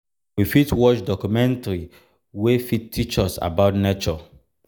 we fit watch documentary wey fit teach us about nature